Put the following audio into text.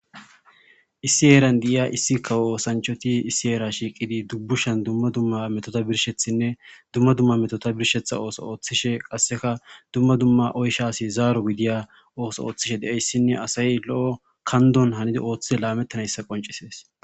issi eeran diiya issi kawoosanchoti issi eera shiiqidi dubbushan dumma dumma metota birshethinne dumma dumma metota birshetha ooso ooththishe qasseka dumma dumma oysha asi zaaro gidiya ooso ooththishe deeyssinne asayy lo7o kandon hanida ooththide laamettanayssa qoncisees